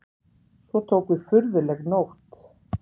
Svo tók við furðuleg nótt.